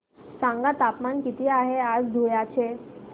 सांगा तापमान किती आहे आज धुळ्याचे